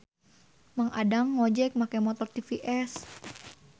Mang Adang ngojek make motor TVS